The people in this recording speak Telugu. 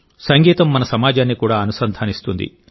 సంగీతం మన సమాజాన్ని కూడా అనుసంధానిస్తుంది